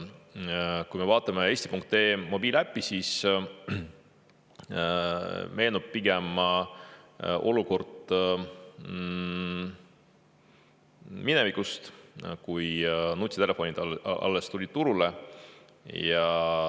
Kui me vaatame eesti.ee mobiiliäppi, siis meenub pigem olukord minevikust, kui nutitelefonid alles tulid turule.